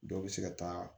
Dɔw bɛ se ka taa